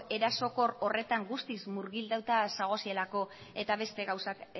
erasokor horretan guztiz murgilduta zaudetelako eta beste gauzak